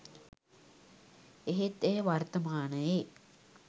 එහෙත් එය වර්තමානයේ